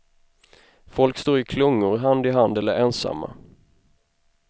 Folk står i klungor, hand i hand eller ensamma.